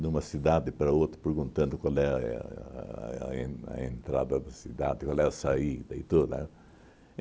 Numa cidade para outra, perguntando qual éh a en a entrada da cidade, qual é a saída e tudo, né?